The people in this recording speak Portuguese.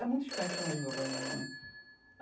É muito diferente a família de meu pai e minha mãe.